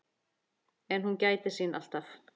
En hún gætir sín alltaf.